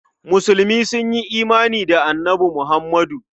Musulmi sun yi imani da Annabi Muhammadu.